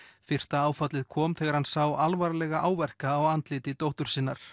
fyrsta áfallið kom þegar hann sá alvarlega áverka á andliti dóttur sinnar